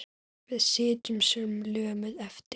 Við sitjum sem lömuð eftir.